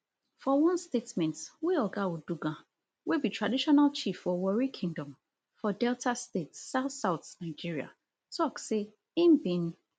for one statement wey oga uduaghan wey be traditional chief for warri kingdom for delta state southsouth nigeria tok say im bin